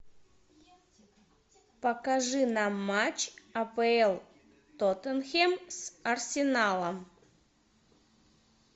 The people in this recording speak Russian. покажи нам матч апл тоттенхэм с арсеналом